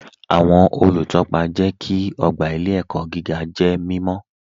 Awọn olútọ́pa jẹ́ kí ogba ilẹ̀-ẹ̀kọ̀ gígà jẹ́ mímọ̀